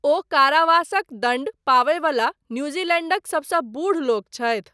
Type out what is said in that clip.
ओ कारावासक दण्ड पाबयवला न्यूजीलैण्डक सबसँ बूढ़ लोक छथि।